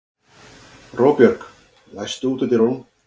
Róbjörg, læstu útidyrunum.